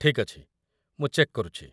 ଠିକ୍ ଅଛି, ମୁଁ ଚେକ୍ କରୁଚି ।